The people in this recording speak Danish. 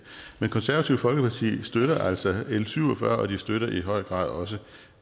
konservative folkeparti støtter altså l syv og fyrre og de støtter i høj grad også